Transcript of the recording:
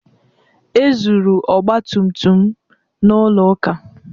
E zuru ọgba tum tum m n'ụlọ ụka